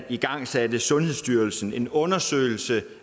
igangsatte sundhedsstyrelsen en undersøgelse